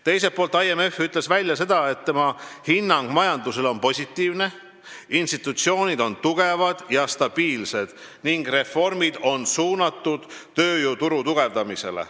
Teiselt poolt, IMF ütles, et tema hinnang majandusele on positiivne, institutsioonid on tugevad ja stabiilsed ning reformid on suunatud tööjõuturu tugevdamisele.